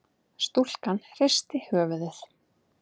Stúlkan hristi höfuðið.